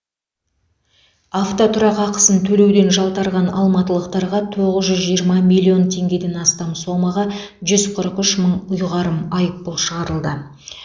автотұрақ ақысын төлеуден жалтарған алматылықтарға тоғыз жүз жиырма миллион теңгеден астам сомаға жүз қырық үш мың ұйғарым айыппұл шығарылды